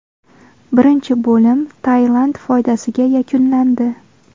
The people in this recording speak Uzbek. Birinchi bo‘lim Tailand foydasiga yakunlandi.